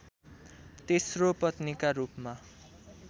तेस्रो पत्नीका रूपमा